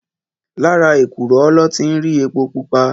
Làrá ékúrò lò ti n ri épó púpá